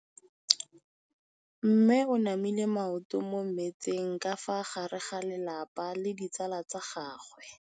Mme o namile maoto mo mmetseng ka fa gare ga lelapa le ditsala tsa gagwe.